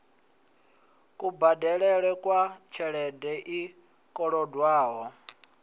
kubadelele kwa tshelede i kolodwaho